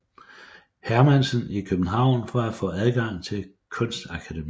Hermansen i København for at få adgang til Kunstakademiet